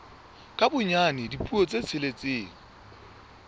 ka bonyane dipuo tse tsheletseng